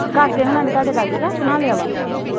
ਕਾਕੇ ਹੁਣਾ ਨੇ ਤੁਹਾਡੇ ਲਾਗੇ ਘਰ ਬਣਾ ਲਿਆ ਵਾ